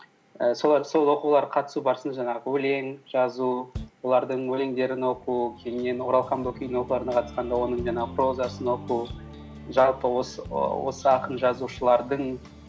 ііі сол оқуларға қатысу барысында жаңағы өлең жазу олардың өлеңдерін оқу кейіннен оралхан бөкейдің оқуларына қатысқанда оның жаңағы прозасын оқу жалпы осы ақын жазушылардың